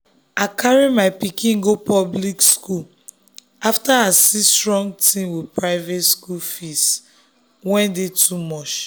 i carry my pikin go public school after i see strong thing with private school fees wey dey too much.